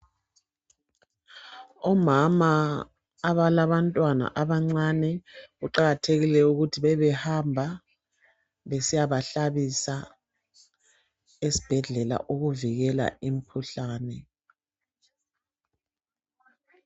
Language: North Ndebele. Omama abalaba ntwana abancane kuqakathekile ukuthi bebehamba besiyabahlabisa esibhedlela ukuvikela imkhuhlane.